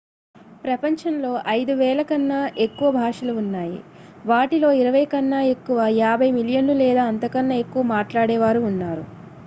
ప్రపంచంలో 5,000 కన్నా ఎక్కువ భాషలు ఉన్నాయి వాటిలో ఇరవై కన్నా ఎక్కువ 50 మిలియన్లు లేదా అంతకన్నా ఎక్కువ మాట్లాడేవారు ఉన్నారు